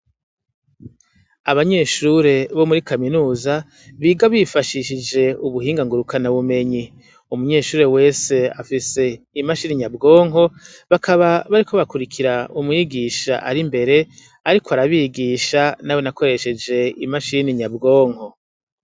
Abanyeshure bo muri kaminuza biga bifashishije ubuhinganguruka na bumenyi umunyeshure wese afise imashini inyabwonko bakaba bariko bakurikira umwigisha ari imbere, ariko arabigisha na we nakoresheje imashini nyabwonko.